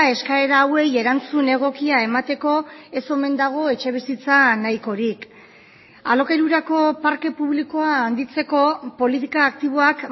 eskaera hauei erantzun egokia emateko ez omen dago etxebizitza nahikorik alokairurako parke publikoa handitzeko politika aktiboak